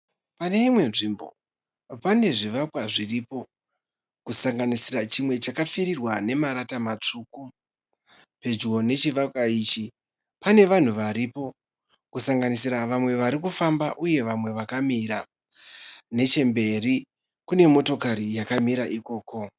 Paneimwe nzvimbo pane zvivakwa zviripo . Kusanganisira chimwe chakapfirirwa nemarata matsvuku. Pedyo nechivakwa ichi pane vanhu varipo. Kusanganisira vamwe varikufamba uye vamwe vakamira . Nechemberi kune motokari yakamira ikoko .